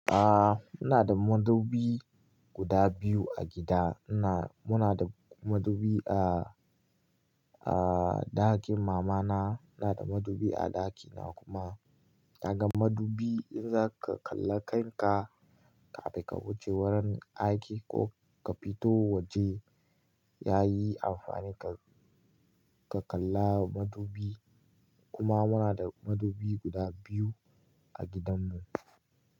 Ah, ina da madubi guda biyu a gida. Muna, muna da madubi a, a ɗakin mama na, ina da madubi a ɗakina kuma. Daga madubi in zaka kalla kanka kafin ka wuce wurin aiki ko ka fito waje yayi amfani. Ka kalla madubi kuma muna da madubi guda biyu a gidan mu.